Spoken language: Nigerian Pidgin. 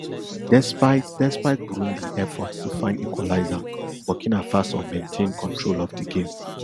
despite despite burundi efforts to find equalizer burkina faso maintain control of di game